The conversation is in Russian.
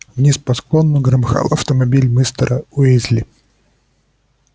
вниз по склону громыхал автомобиль мистера уизли